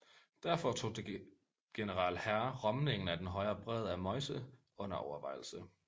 Derfor tog general Herr rømningen af den højre bred af Meuse under overvejelse